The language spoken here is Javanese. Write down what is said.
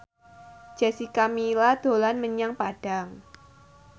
Jessica Milla dolan menyang Padang